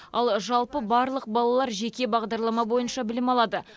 ал жалпы барлық балалар жеке бағдарлама бойынша білім алады